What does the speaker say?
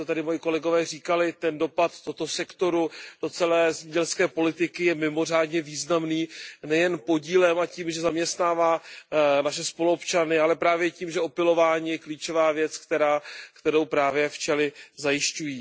Už to tady moji kolegové říkali, ten dopad tohoto sektoru do celé zemědělské politiky je mimořádně významný nejen podílem a tím, že zaměstnává naše spoluobčany, ale právě tím, že opylování je klíčová věc, kterou právě včely zajišťují.